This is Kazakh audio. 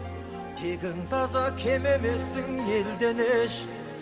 тегің таза кем емессің елден еш